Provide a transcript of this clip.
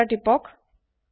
enter তিপক